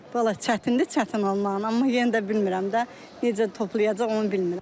Vallahi çətindir, çətin olmaqla, amma yenə də bilmirəm də necə toplayacaq onu bilmirəm.